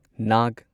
Naga